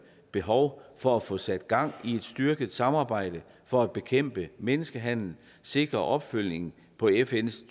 behov for at få sat gang i et styrket samarbejde for at bekæmpe menneskehandel sikre opfølgning på fns